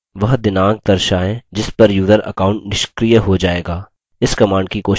वह दिनांक दर्शायें जिस पर यूजर account निष्क्रिय हो जायेगा